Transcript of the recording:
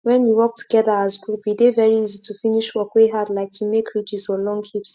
when we work together as group e dey very easy to finish work wey hard like to make ridges or long heaps